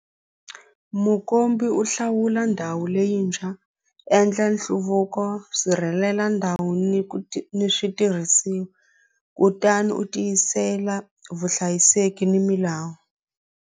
Mukombi u hlawula ndhawu leyintshwa endla nhluvuko sirhelela ndhawu ni ku ni switirhisiwa kutani u tiyisela vuhlayiseki ni milawu.